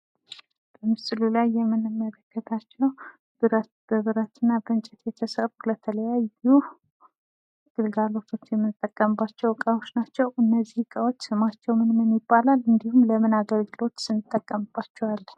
በምስሉ ላይ የምንመለከታቸዉ ብረት በብረት እና በእንጨት የተሰሩ ለተለያዩ ግልጋሎቶች የምንጠቀምባቸዉ እቃዎች ናቸዉ? ስማቸዉ ምን ይባላል? እንዲሁም ለምን ለምን ግልጋሎቶች እንጠቀምባቸዋለን?